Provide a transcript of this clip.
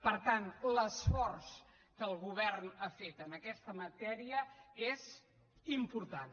per tant l’esforç que el govern ha fet en aquesta matèria és important